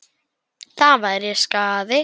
Það væri skaði.